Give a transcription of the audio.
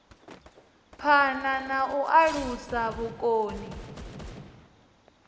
phana na u alusa vhukoni